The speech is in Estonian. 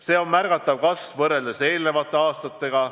See on märgatav kasv võrreldes eelnevate aastatega.